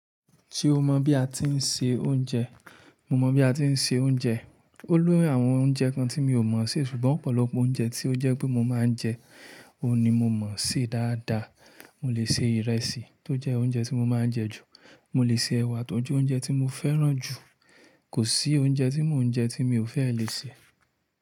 Ti o mọ bi a ti ń se oúnjẹ, mo mọ bi a ti ń se oúnjẹ. Ó lóyún àwọn oúnjẹ kan tí mi ò mọ̀ sé, ṣùgbọ́n ọ̀pọ̀lọpọ̀ oúnjẹ tí ó jẹ́ pé mo máa ń jẹ, òun ni mo mọ̀ sé dáadáa. Mo lè se ìrẹsì tó jẹ́ oúnjẹ tí mo máa ń jẹ ju, mo lè se ẹwà tó jẹ́ oúnjẹ tí mo fẹ́ràn jù. Kò sí oúnjẹ tí mo ń jẹ tí mi ò fẹ́ lè sè.